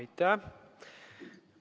Aitäh!